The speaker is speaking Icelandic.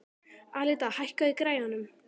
Alida, hækkaðu í græjunum.